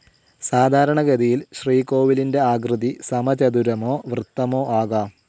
സാധാരണഗതിയിൽ ശ്രീകോവിലിന്റെ ആകൃതി സമചതുരമോ വൃത്തമോ ആകാം.